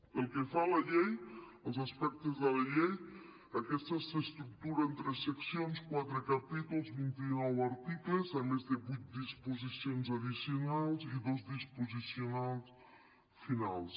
pel que fa a la llei als aspectes de la llei aquesta s’estructura en tres seccions quatre capítols vint i nou articles a més de vuit disposicions addicionals i dos disposicions finals